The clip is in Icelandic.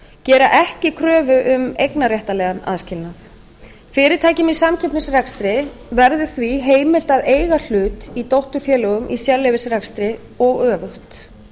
gera ekki kröfu um eignarréttarlegan aðskilnað fyrirtækjum í samkeppnisrekstri verður því heimilt að eiga hlut í dótturfélögum í sérleyfisrekstri og öfugt